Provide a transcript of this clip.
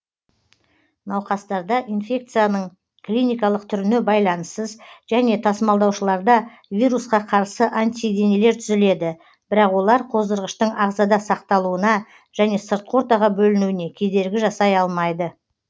науқастарда инфекцияның клиникалық түріне байланыссыз және тасымалдаушыларда вирусқа қарсы антиденелер түзіледі бірақ олар қоздырғыштың ағзада сақталуына және сыртқы ортаға бөлінуіне кедергі жасай алмайды